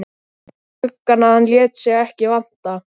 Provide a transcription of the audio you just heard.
gluggann að hann lét sig ekki vanta.